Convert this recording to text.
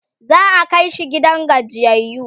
za'a Kai shi gidan gajiyayyu